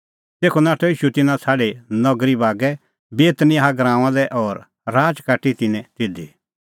तेखअ नाठअ ईशू तिन्नां छ़ाडी नगरी बागै बेतनियाह गराऊंआं लै और राच काटी तिन्नैं तिधी